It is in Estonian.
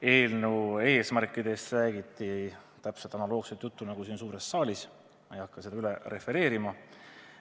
Eelnõu eesmärkidest räägiti analoogset juttu nagu siin suures saalis, seega ma ei hakka seda üle refereerima.